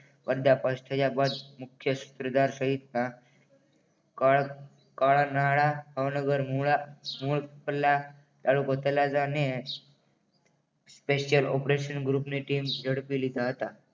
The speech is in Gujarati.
પડદા ફાસ્ટ થયા બાદ મુખ્ય સૂત્રધાર સહિતના કારનાળા ભાવનગર મુળા મૂળ પલ્લા તાલુકો તળાજા અને સ્પેશિયલ ઓપરેશન ગ્રુપની ટીમે ઝડપી લીધા હતા